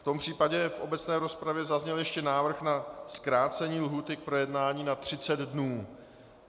V tom případě v obecné rozpravě zazněl ještě návrh na zkrácení lhůty k projednání na 30 dnů.